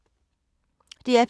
DR P2